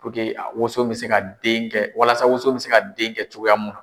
Puruke woson bɛ se ka den kɛ walasa woso bɛ se ka den kɛ cogoya mun na.